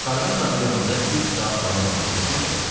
Qarğan dağı yanında üç saat davam edən vuruşma belə qurtardı.